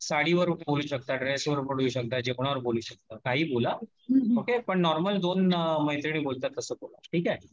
साडी वर बोलु शकता ड्रेस वर बोलु शकता जेवणावर बोलु शकता काहीही बोला, ओके ? पण नॉर्मल मैत्रिणी बोलतात तसं बोला